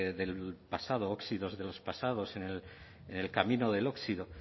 del pasado óxidos de los pasados en el camino del óxido